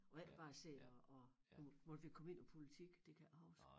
Og ikke bare sidder og og måtte vi komme ind på politik det kan jeg ikke huske